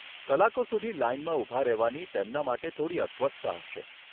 કલાકો સુધી લાઈનમાં ઊભા રહેવાની તેમના માટે થોડી અસ્વસ્થતા હશે.